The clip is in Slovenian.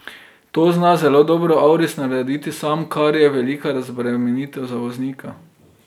To zna zelo dobro auris narediti sam, kar je velika razbremenitev za voznika.